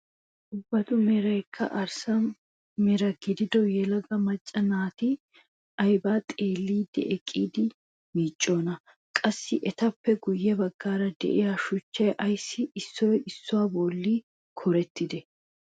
Ubbatu meraykka arssa mera gidido yelaga macca naati aybaa xeelliidi eqqidi miicciyoonaa? qassi etappe guye baggaara de'iyaa shuchchay ayssi issoy issuwaa bolli kuurettidee?